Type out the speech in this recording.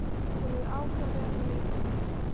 Hún er ákaflega leið yfir því.